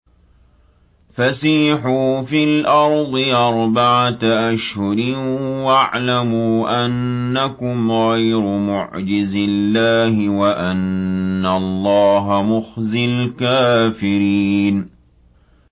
فَسِيحُوا فِي الْأَرْضِ أَرْبَعَةَ أَشْهُرٍ وَاعْلَمُوا أَنَّكُمْ غَيْرُ مُعْجِزِي اللَّهِ ۙ وَأَنَّ اللَّهَ مُخْزِي الْكَافِرِينَ